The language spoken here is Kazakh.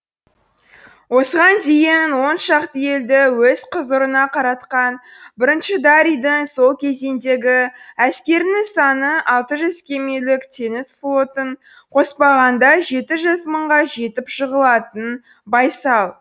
осыған дейін он шақты елді өз құзырына қаратқан бірінші дарийдің сол кезеңдегі әскерінің саны алты жүз кемелік теңіз флотын қоспағанда жеті жүз мыңға жетіп жығылатын байсал